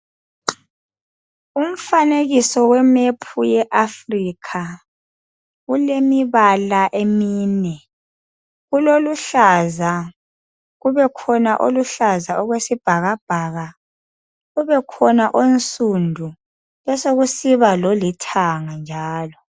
Umfanekiso wemephu yeAfrica ulemibala emine. Kuloluhlaza, kubekhona oluhlaza okwesibhakabhaka, kubekhona onsundu, besekusiba lolithanga njalo.